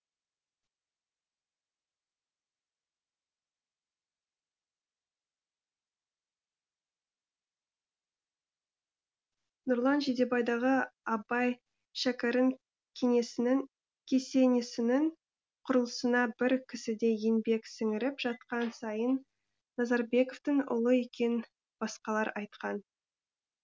нұрлан жидебайдағы абай шәкәрім кесенесінің құрылысына бір кісідей еңбек сіңіріп жатқан сайын назарбековтің ұлы екенін басқалар айтқан